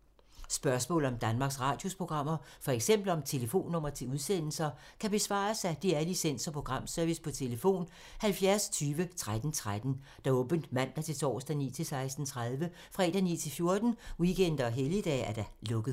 Spørgsmål om Danmarks Radios programmer, f.eks. om telefonnumre til udsendelser, kan besvares af DR Licens- og Programservice: tlf. 70 20 13 13, åbent mandag-torsdag 9.00-16.30, fredag 9.00-14.00, weekender og helligdage: lukket.